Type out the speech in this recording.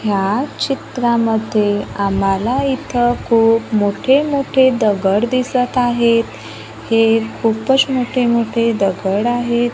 ह्या चित्रामध्ये आम्हाला इथं खूप मोठे-मोठे दगड दिसत आहेत हे खूपच मोठे- मोठे दगड आहेत.